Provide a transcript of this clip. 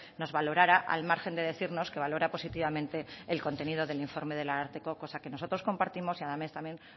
nos valorara al margen de decirnos que valora positivamente el contenido del informe del ararteko cosa que nosotros compartimos y a la vez también